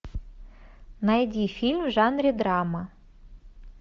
найди фильм в жанре драма